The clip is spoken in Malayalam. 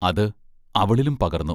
അത് അവളിലും പകർന്നു.